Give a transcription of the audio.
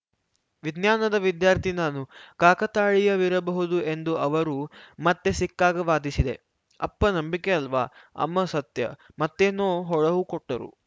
ವಿಜ್ಞಾನದ ವಿದ್ಯಾರ್ಥಿ ನಾನು ಕಾಕತಾಳೀಯವಿರಬಹುದು ಎಂದು ಅವರು ಮತ್ತೆ ಸಿಕ್ಕಾಗ ವಾದಿಸಿದೆ ಅಪ್ಪ ನಂಬಿಕೆಯಲ್ವಾ ಅಮ್ಮ ಸತ್ಯ ಮತ್ತೇನೋ ಹೊಳಹುಕೊಟ್ಟರು